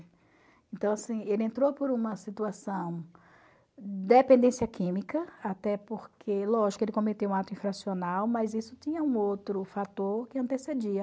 Então, assim, ele entrou por uma situação de dependência química, até porque, lógico, ele cometeu um ato infracional, mas isso tinha um outro fator que antecedia.